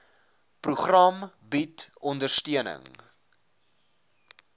program bied ondersteuning